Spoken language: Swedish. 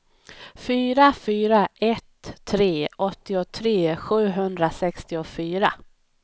fyra fyra ett tre åttiotre sjuhundrasextiofyra